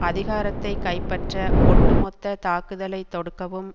அதிகாரத்தை கைப்பற்ற ஒட்டு மொத்த தாக்குதலை தொடுக்கவும்